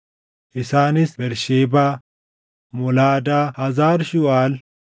Isaanis Bersheebaa, Molaadaa, Hazar Shuuʼaal,